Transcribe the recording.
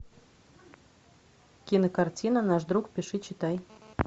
кинокартина наш друг пиши читай